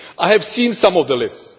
I have seen some of the lists.